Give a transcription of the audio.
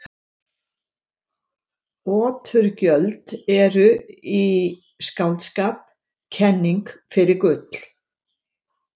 Oturgjöld eru í skáldskap kenning fyrir gull.